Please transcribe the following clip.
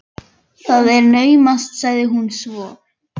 Það er naumast sagði hún svo.